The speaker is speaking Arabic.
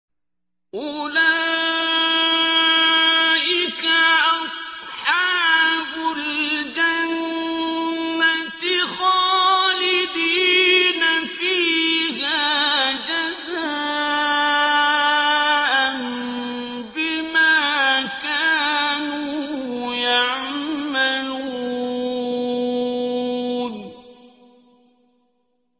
أُولَٰئِكَ أَصْحَابُ الْجَنَّةِ خَالِدِينَ فِيهَا جَزَاءً بِمَا كَانُوا يَعْمَلُونَ